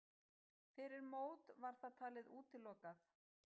Fyrir mót var það talið útilokað.